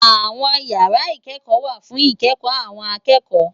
Awòn ìyàrá ikèékò wá fún ikèékò áwòn àkèékò